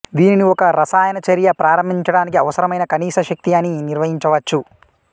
దీనిని ఒక రసాయన చర్య ప్రారంభించడానికి అవసరమైన కనీస శక్తి అని నిర్వచించవచ్చు